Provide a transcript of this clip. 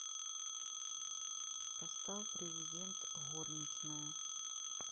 поставь президент горничная